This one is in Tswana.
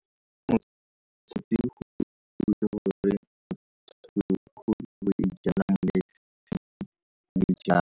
di ja